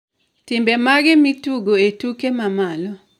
timbe mage matugo e tuke mamalo